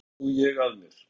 En nú sá ég að mér.